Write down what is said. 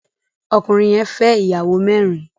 Ọkùnrin yẹn fẹ́ ìyàwó mẹ́rin.